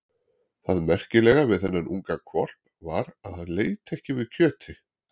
Það merkilega við þennan unga hvolp var að hann leit ekki við kjöti.